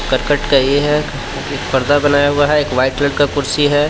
करकट का ये है एक पर्दा बनाया हुआ है एक वाइट कलर का कुर्सी है।